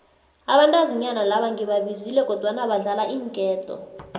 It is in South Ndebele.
abantazinyana laba ngibabizile kodwana badlala iinketo